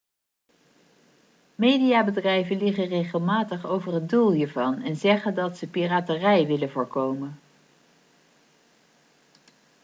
mediabedrijven liegen regelmatig over het doel hiervan en zeggen dat ze piraterij willen voorkomen